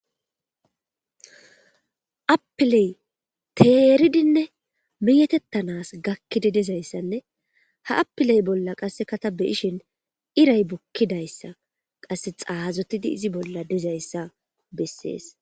Appiley teeridinne meeetettanas gakkidi dizayssanne ha apiley bolla qasseka ta be7ishin iray bukkidayssa qasse xaazotidi izi bolla dizayssa bessees.